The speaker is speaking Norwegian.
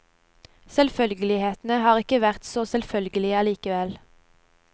Selvfølgelighetene har ikke vært så selvfølgelige allikevel.